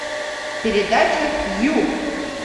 передача ю